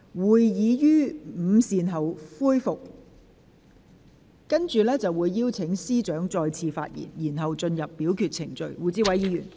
會議將於午膳後恢復，屆時我會邀請律政司司長再次發言，之後便進入表決程序。